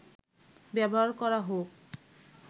ব্যবহার করা হোক